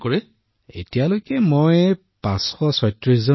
ডাঃ মদন মণিঃ এতিয়ালৈকে মই ৫৩৬ জন ৰোগী চাইছো